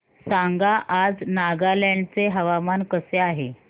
सांगा आज नागालँड चे हवामान कसे आहे